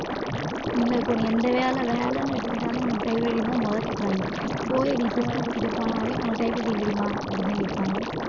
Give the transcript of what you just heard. இல்லை இப்போ நீ இந்த வேலை வேலைன்னு எடுத்துக்கிட்டாலும் உனக்கு typewriting த முத கேக்குறாங்க. போய் நீ system கிட்ட போனாலே உனக்கு typewriting தெரியுமா அப்படின்னுதான் கேட்பாங்க